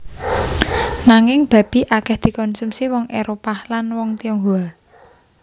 Nanging babi akèh dikonsumsi wong Éropah lan wong Tionghoa